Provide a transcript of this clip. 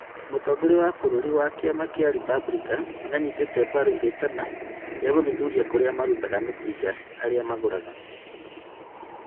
Mũtongoria wa bũrũri wa kĩama kĩa Republican nĩanyitĩte mbaru rĩtana na gũthuthuria kũrĩa marutaga mĩcinga arĩa magũraga